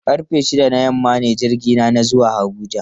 Karfe shida na yamma ne jirgina na zuwa Abuja.